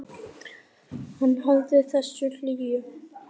Hann hafði þessa hlýju.